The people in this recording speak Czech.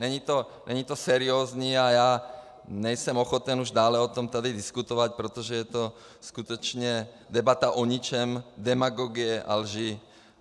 Není to seriózní a já nejsem ochoten už dále o tom tady diskutovat, protože je to skutečně debata o ničem, demagogie a lži.